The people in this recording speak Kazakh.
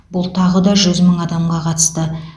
бұл тағы да жүз мың адамға қатысты